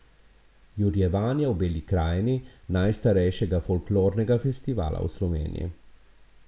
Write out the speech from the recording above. Jurjevanja v Beli krajini, najstarejšega folklornega festivala v Sloveniji.